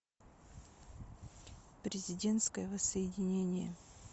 президентское воссоединение